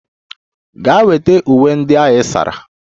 Gaa weta uwe ndị ị sara!